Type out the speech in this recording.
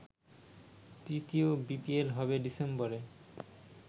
তৃতীয় বিপিএল হবে ডিসেম্বরে।